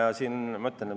Varem veel.